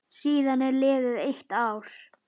Síðan er liðið eitt ár.